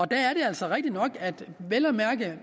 der er det altså rigtigt nok at